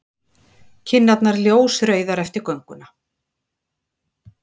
Kinnarnar ljósrauðar eftir gönguna.